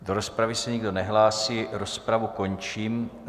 Do rozpravy se nikdo nehlásí, rozpravu končím.